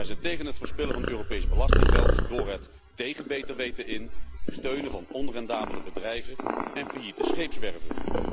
Wij zijn tegen het verspillen van Europees belastinggeld door het tegen beter weten in steunen van onrendabele bedrijven en failliete scheepswerven.